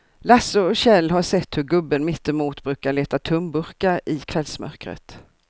Lasse och Kjell har sett hur gubben mittemot brukar leta tomburkar i kvällsmörkret.